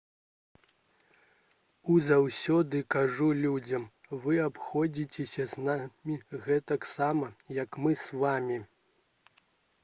я заўсёды кажу людзям вы абыходзіцеся з намі гэтаксама як мы з вамі